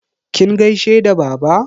Kin gaishe da baba?